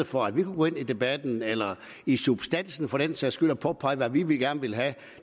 for at vi kunne gå ind i debatten eller i substansen for den sags skyld og påpege hvad vi gerne ville have